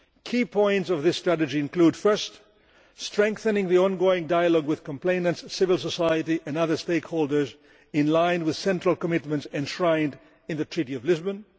Key points of this strategy include first, strengthening the ongoing dialogue with complainants, civil society and other stakeholders in line with central commitments enshrined in the Treaty of Lisbon